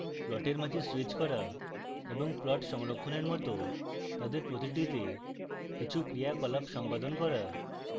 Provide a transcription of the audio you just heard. প্লটের মাঝে স্যুইচ করা এবং plots সংরক্ষণের মত তাদের প্রতিটিতে কিছু ক্রিয়াকলাপ সম্পাদন করা